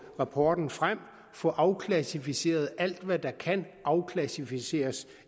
rapporten frem og få afklassificeret alt hvad der kan afklassificeres